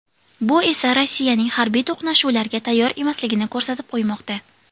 Bu esa Rossiyaning harbiy to‘qnashuvlarga tayyor emasligini ko‘rsatib qo‘ymoqda.